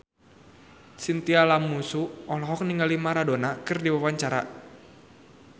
Chintya Lamusu olohok ningali Maradona keur diwawancara